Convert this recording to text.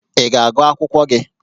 Ị ga-agụ akwụkwọ gị?